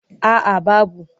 A a babu.